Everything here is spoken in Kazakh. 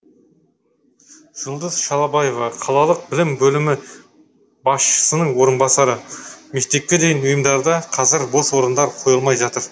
жұлдыз шалабаева қалалық білім бөлімі басшысының орынбасары мектепке дейінгі ұйымдарда қазір бос орындар қойылмай жатыр